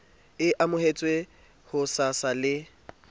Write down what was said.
e amohetswe ho sasa le